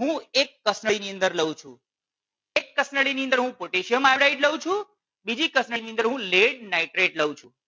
હું એક કસનળીની અંદર લઉં છું. એક કસનળીની અંદર હું potassium iodide લઉં છું બીજી કસનળીની અંદર lead nitrate લઉં છું